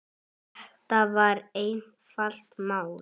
Þetta var einfalt mál.